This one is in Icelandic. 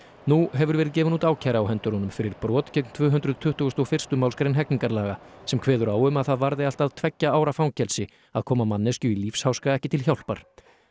nú hefur verið gefin út ákæra á hendur honum fyrir brot gegn tvö hundruð tuttugustu og fyrstu málsgrein hegningarlaga sem kveður á um að það varði allt að tveggja ára fangelsi að koma manneskju í lífsháska ekki til hjálpar